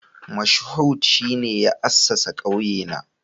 Moshood shine ya assasa kauyena